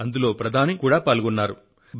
ఇందులో ఆమె స్వయంగా పాల్గొన్నారు కూడా